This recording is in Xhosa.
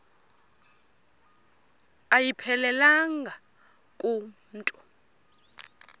ayiphelelanga ku mntu